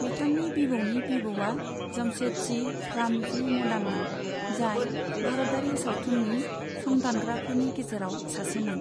बिथांनि बिबौनि बिबौआ जमशेदजि फ्रामजि मदानमोन, जाय भारतारि सावथुननि संदानग्राफोनि गेजेराव सासे मोन।